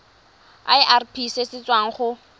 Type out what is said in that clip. irp se se tswang go